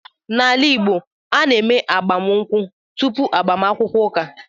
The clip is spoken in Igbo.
N’ala Igbo, a na-eme agbamụnkwụ tupu agbaakwukwọ ụka.